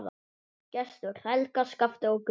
Gestur, Helga, Skafti og Gunnar.